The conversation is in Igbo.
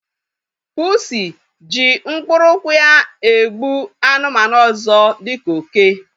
Pusi ji mkpụrụ ụkwụ ya egbu anụmanụ ọzọ dịka oke